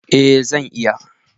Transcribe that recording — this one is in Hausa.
Eh zan iya.